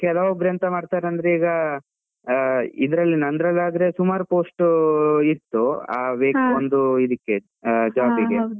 ಕೆಲವೊಬ್ರು ಎಂತ ಮಾಡ್ತಾರೆ ಅಂದ್ರೆ ಈಗ ಆ ಇದ್ರಲ್ಲಿ ನಂದ್ರಲ್ಲಿ ಆದ್ರೆ, ಸುಮಾರ್ post ಇತ್ತು. ಆ ಇದಕ್ಕೆ job ಗೆ.